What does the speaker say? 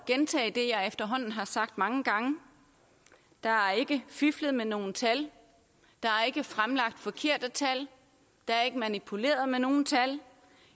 gentage det jeg efterhånden har sagt mange gange der er ikke fiflet med nogen tal der er ikke fremlagt forkerte tal der er ikke manipuleret med nogen tal